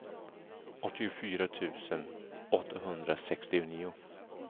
åttiofyra tusen åttahundrasextionio